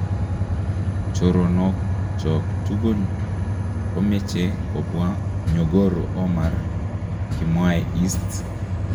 'choronook chook tugul komeche kobwa nyogoro Omar' kimwae Hirst.